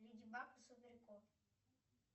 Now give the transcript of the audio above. леди баг и супер кот